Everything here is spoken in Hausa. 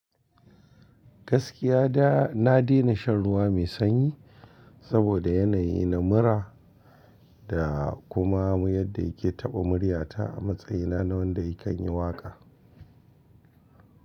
Gaskiya da na daina shan ruwa mai sanyi saboda yanayi na mura da kuma yadda yake taɓa murya ta a matsayina na wanda kanyi waƙa.